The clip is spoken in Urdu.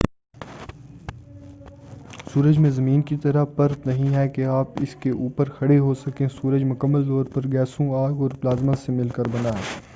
سورج میں زمین کی طرح پرت نہیں ہے کہ آپ اسکے اوپر کھڑے ہو سکیں سورج مکمل طور پر گیسوں آگ اور پلازمہ سے مل کر بنا ہے